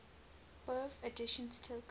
bofh editions took